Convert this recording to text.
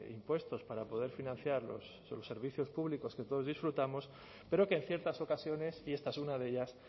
impuestos para poder financiar los servicios públicos que todos disfrutamos pero que en ciertas ocasiones y esta es una de ellas